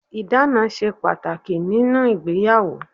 Ìdáná ṣe pàtàkì nínú ìgbéyàwó.